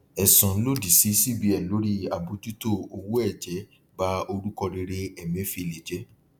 ẹsùn lòdì sí cbn lórí àbójútó owó ẹjẹ ba orúkọ rere emefiele jẹ